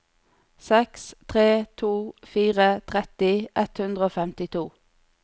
seks tre to fire tretti ett hundre og femtito